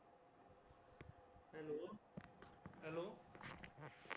hello